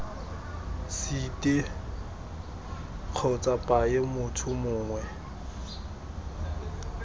site kgotsa paye motho mongwe